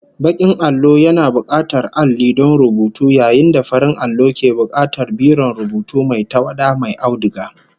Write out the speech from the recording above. Bakin allo yana bukatar alli don rubutu yayin da farin allo ke bukatar biron rubutu mai tawada mai auduga